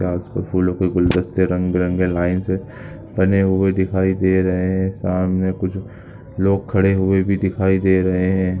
कांच व फूलों क गुलदस्ते रंग-बिरंगे लाइन से बने हुए दिखाए दे रहे हैं सामने कुछ लोग खड़े हुए भी दिखाए दे रहे हैं।